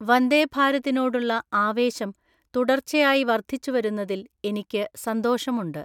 വന്ദേഭാരതിനോടുള്ള ആവേശം തുടർച്ചയായി വർദ്ധിച്ചുവരുന്നതില്‍ എനിക്ക് സന്തോഷമുണ്ട്.